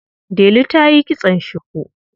Delu ta yi kitson shuku.